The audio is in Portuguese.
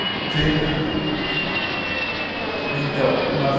Lugar foi assim. Então, nós